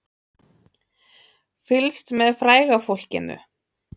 Fylgst með fræga fólkinu